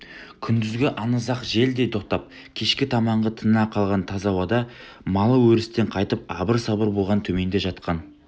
күндізгі аңызақ жел де тоқтап кешкі таманғы тына қалған таза ауада малы өрістен қайтып абыр-сабыр болған төменде жатқан